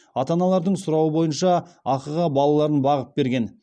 ата аналардың сұрауы бойынша ақыға балаларын бағып берген